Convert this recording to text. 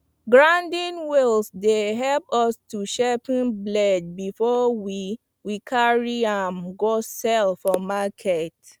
grinding wheels dey help us to sharpen blades before we we carry am go sell for market